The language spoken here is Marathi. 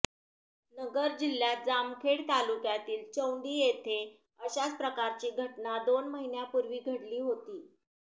नगर जिल्ह्यात जामखेड तालुक्यातील चौंडी येथे अशाच प्रकारची घटना दोन महिन्यांपूर्वी घडली होती